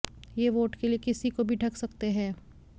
ये वोट के लिए किसी को भी ठग सकते हैं